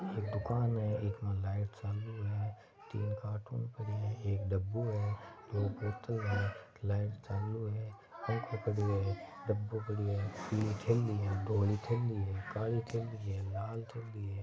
एक दुकान लाइट चालू है तीन कार्टून पड़ा है एक डब्बू है दो बोत्तल लाइट चालू है फंखो पड़ो है डबो पड़ो है तीन थैली धोळी थैली काली थैली लाल थैली है।